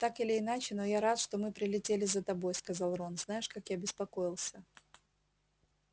так или иначе но я рад что мы прилетели за тобой сказал рон знаешь как я беспокоился